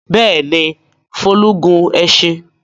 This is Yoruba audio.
Bẹ́ẹ̀ ni, Folú gun ẹṣin.